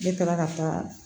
Ne taara ka taa